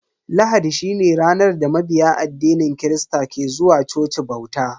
Lahadi shine ranar da mabiya addinin kirista ke zuwa coci bauta.